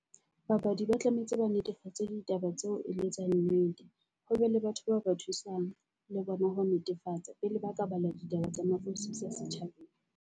Babadi ba tlametse ba netefatse ditaba tseo e leng tsa nnete, ho be le batho bao ba thusang le bona ho netefatsa pele ba ka bala ditaba tsa nafosisa setjhabeng.